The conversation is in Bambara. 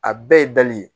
A bɛɛ ye dali ye